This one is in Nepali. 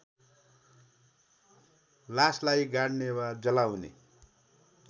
लासलाई गाड्ने वा जलाउने